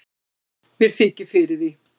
mér þykir fyrir því